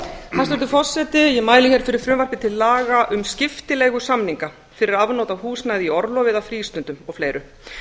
hæstvirtur forseti ég mæli hér fyrir frumvarpi til laga um skiptileigusamninga fyrir afnot af húsnæði í orlofi eða frístundum og og fleiri